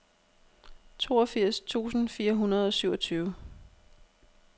toogfirs tusind fire hundrede og syvogtyve